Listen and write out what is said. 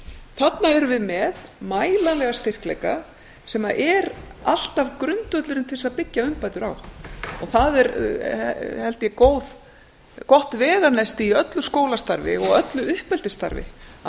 þarna erum við með mælanlega styrkleika sem er alltaf grundvöllurinn til þess að byggja umbætur á það er held ég gott veganesti í öllu skólastarfi og öllu uppeldisstarfi að